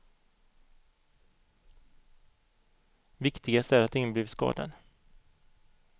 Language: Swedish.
Viktigast är att ingen har blivit skadad.